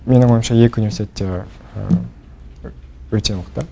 менің ойымша екі университет те өте мықты